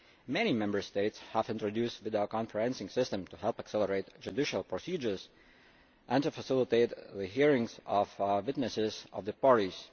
Many Member States have introduced videoconferencing systems to help accelerate judicial procedures and facilitate the hearings of witnesses or of the parties.